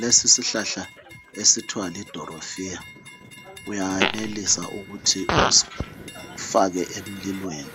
Lesi isihlahla esithiwa lidorofiya, uyanelisa ukuthi usifake emlilweni,